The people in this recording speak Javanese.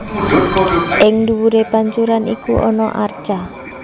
Ing duwuré pancuran iku ana arca